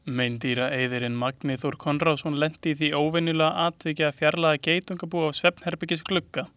Meindýraeyðirinn Magni Þór Konráðsson lenti í því óvenjulega atviki að fjarlægja geitungabú af svefnherbergisglugga.